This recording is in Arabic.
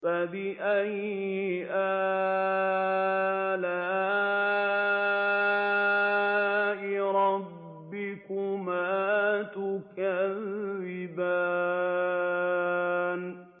فَبِأَيِّ آلَاءِ رَبِّكُمَا تُكَذِّبَانِ